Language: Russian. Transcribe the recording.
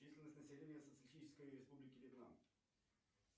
численность населения социалистической республики вьетнам